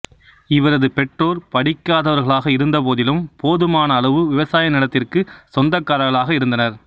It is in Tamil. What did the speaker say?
இவரது பெற்றோர் படிக்காதவர்களாக இருந்தபோதிலும் போதுமான அளவு விவசாய நிலத்திற்குச் சொந்தக்காரர்களாக இருந்தனர்